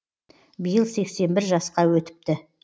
биыл сексен бір жасқа өтіпті